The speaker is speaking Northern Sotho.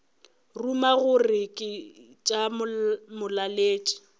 ruma gore ke tša molaletši